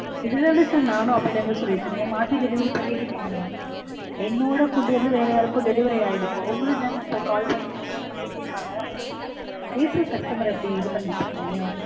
இதுதான sir நானும் அப்போல இருந்து சொல்லிட்டிருக்கேன் மாத்தி delivery பண்ணிட்டீங்க நீங்க. என்னோட food வந்து வேற யாருக்கோ delivery ஆயிருக்கு. உங்களையும்தான sir call பண்ணி இந்த மாதிரி திட்டிருப்பாங்க. ஏன் sir customer அ இப்டி இது பண்ணிட்டிருக்கீங்க?